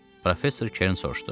Professor Kern soruşdu.